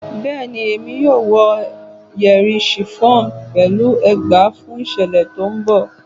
Bẹẹni, Emi yoo wọ yeri chiffon pẹlu ẹgba fun iṣẹlẹ ti n bọ